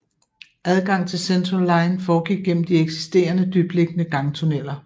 Adgang til Central line foregik gennem de eksisterende dybtliggende gangtunneller